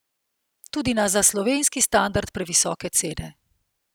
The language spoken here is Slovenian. Tudi na za slovenski standard previsoke cene.